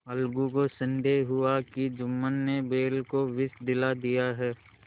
अलगू को संदेह हुआ कि जुम्मन ने बैल को विष दिला दिया है